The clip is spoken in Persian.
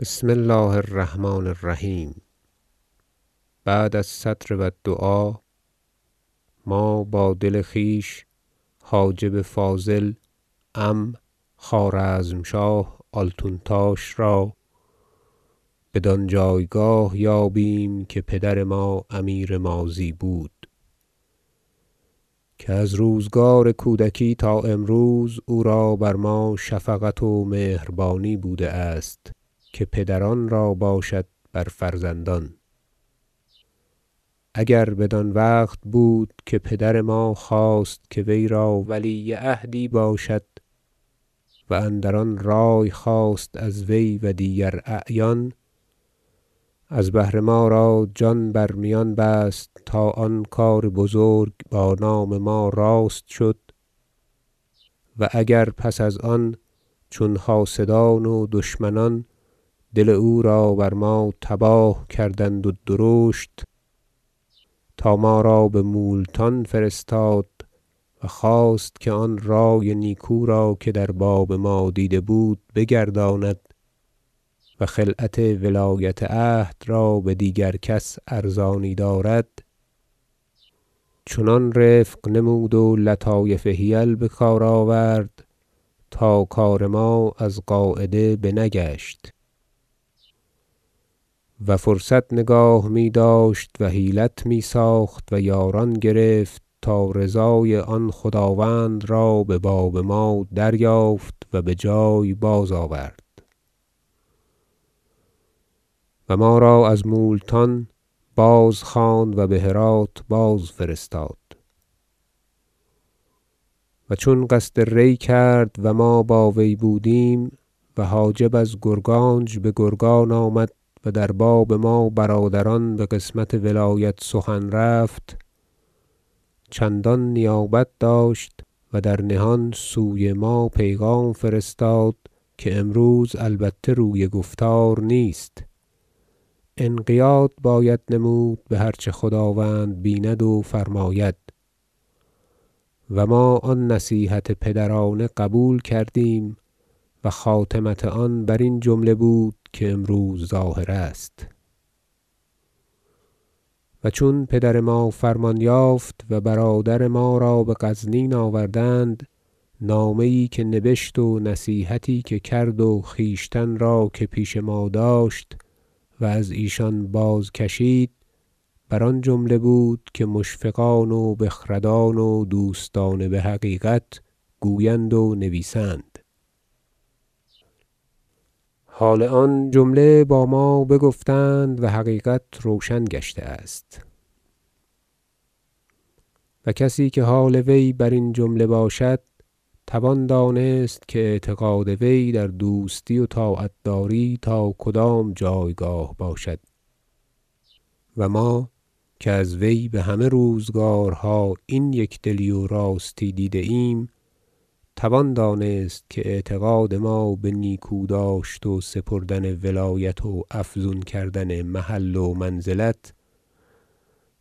بسم الله الرحمن الرحیم بعد الصدر و الدعاء ما با دل خویش حاجب فاضل عم خوارزمشاه آلتونتاش را بدان جایگاه یابیم که پدر ما امیر ماضی بود که از روزگار کودکی تا امروز او را بر ما شفقت و مهربانی بوده است که پدران را باشد بر فرزندان اگر بدان وقت بود که پدر ما خواست که وی را ولیعهدی باشد و اندران رأی خواست از وی و دیگر اعیان از بهر ما را جان بر میان بست تا آن کار بزرگ با نام ما راست شد و اگر پس از آن چون حاسدان و دشمنان دل او را بر ما تباه کردند و درشت تا ما را بمولتان فرستاد و خواست که آن رأی نیکو را که در باب ما دیده بود بگرداند و خلعت ولایت عهد را بدیگر کس ارزانی دارد چنان رفق نمود و لطایف حیل بکار آورد تا کار ما از قاعده بنگشت و فرصت نگاه میداشت و حیلت میساخت و یاران گرفت تا رضای آن خداوند را بباب ما دریافت و بجای باز آورد و ما را از مولتان بازخواند و بهراة باز فرستاد و چون قصد ری کرد و ما با وی بودیم و حاجب از گرگانج بگرگان آمد و در باب ما برادران بقسمت ولایت سخن رفت چندان نیابت داشت و در نهان سوی ما پیغام فرستاد که امروز البته روی گفتار نیست انقیاد باید نمود به هر چه خداوند بیند و فرماید و ما آن نصیحت پدرانه قبول کردیم و خاتمت آن برین جمله بود که امروز ظاهر است و چون پدر ما فرمان یافت و برادر ما را بغزنین آوردند نامه یی که نبشت و نصیحتی که کرد و خویشتن را که پیش ما داشت و از ایشان بازکشید بر آن جمله بود که مشفقان و بخردان و دوستان بحقیقت گویند و نویسند حال آن جمله با ما بگفتند و حقیقت روشن گشته است و کسی که حال وی برین جمله باشد توان دانست که اعتقاد وی در دوستی و طاعت داری تا کدام جایگاه باشد و ما که از وی بهمه روزگارها این یکدلی و راستی دیده ایم توان دانست که اعتقاد ما به نیکوداشت و سپردن ولایت و افزون کردن محل و منزلت